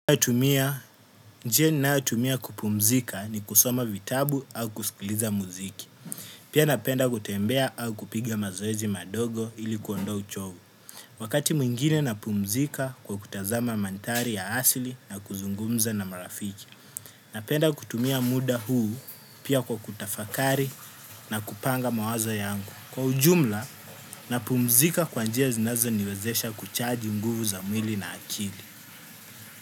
Ninayotumia, njia ninayotumia kupumzika ni kusoma vitabu au kusikiliza muziki. Pia napenda kutembea au kupiga mazoezi madogo ili kuondoa uchovu. Wakati mwingine napumzika kwa kutazama mandhari ya asili na kuzungumza na marafiki. Napenda kutumia muda huu pia kwa kutafakari na kupanga mawazo yangu. Kwa ujumla, napumzika kwa njia zinazoniwezesha kuchaji nguvu za mwili na akili.